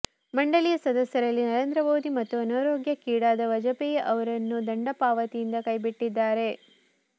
ಮಂಡಳಿಯ ಸದಸ್ಯರಲ್ಲಿ ನರೇಂದ್ರ ಮೋದಿ ಮತ್ತು ಅನಾರೋಗ್ಯಕ್ಕೀಡಾದ ವಾಜಪೇಯಿ ಅವರನ್ನು ದಂಡಪಾವತಿಯಿಂದ ಕೈಬಿಟ್ಟಿದ್ದಾರೆ